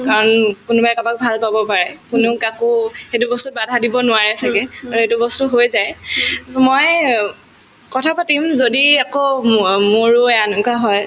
কাৰণ কোনোবাই কাবাক ভাল পাব পাৰে কোনো কাকো সেইটো বস্তুত বাধা দিব নোৱাৰে ছাগে আৰু সেইটো বস্তু হৈ যায় so মই অ কথা পাতিম যদি একো মো‍ অ মোৰো এনকুৱা হয়